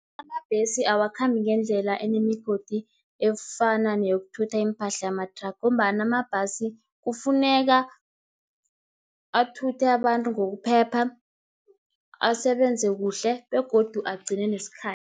Amabhesi awakhambi ngendlela enemigodi, efana neyokuthutha iimpahla yamathraga, ngombana amabhasi kufuneka athuthe abantu ngokuphepha, asebenze kuhle, begodu agcine nesikhathi.